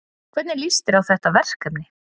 Hvernig líst þér á þetta verkefni?